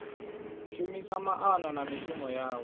shumisa maana na mishumo yawe